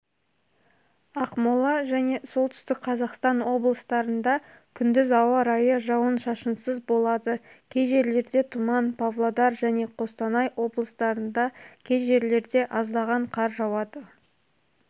ақмола және солтүстік қазақстан облыстарында күндіз ауа райы жауын-шашынсыз болады кей жерлерде тұман павлодар және қостанай облыстарында кей жерлерде аздаған қар жауады